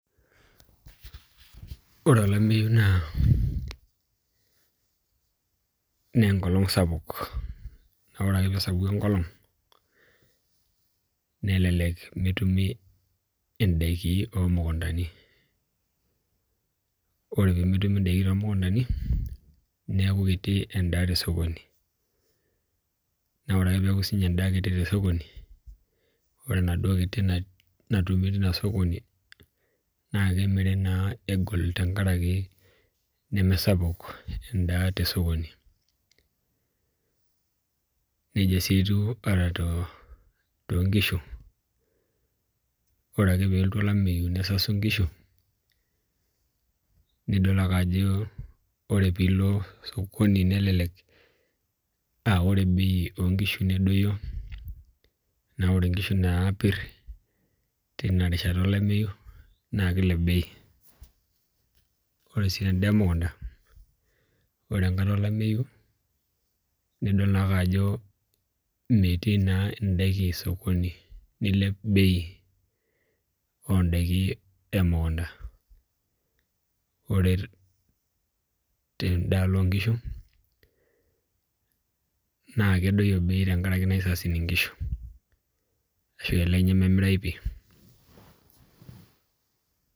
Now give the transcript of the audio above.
Ore olameyu naa , enkolong sapuk naa oree ake pee esapuku enkolong nelelek meetumi indaiki oo mukutani , ore pemeetumi indaiki too mukuntani neeku kiti endaa to sokoni , naa ore ake peeku sinye kitii enda tosokoni ore enaduo kitii natumi tina sokoni nemiri naa egol tenkaraki nemesapuk enda tosokoni , nejia sii etiu ataa to nkishu , ore ake peelotu olameyu nesasu inkiishu nidol ake ajo ore piilo sokoni nelelek aa ore bei oo nkishu nedoyio naa oree inkishu naapir tinarishata olameyu naa keilep bei , ore sii endaa emukunta ore tenkaata olameyu nidol naake ako meeti naa endaa osokoni neilep bei oo ndaiki emukunta , ore tendaalo oo nkishu naa kedoyio bei tenkaraki aisasin inkishu ashu elelek nyee memirayu pii.